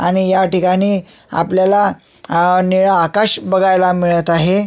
आणि ह्या ठिकाणी आपल्याला अ नीळ आकाश बघायला मिळत आहे.